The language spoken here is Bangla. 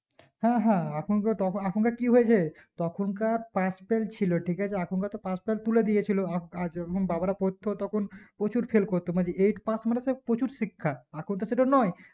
হ্যাঁ হ্যাঁ এখন কার তএখন কার কি হয়েছে তখন কার pass-fail ছিল ঠিকআছে এখন কার তো pass-fail তুলে দিয়েছিল আআর যখন বাবার পড়তো তখন প্রচুর fail করতো মানে যে eight pass মানে সেই প্রচুর শিক্ষা এখন তো সেটা নোই